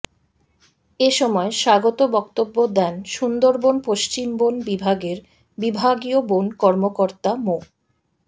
এ সময় স্বাগত বক্তব্য দেন সুন্দরবন পশ্চিম বন বিভাগের বিভাগীয় বন কর্মকর্তা মো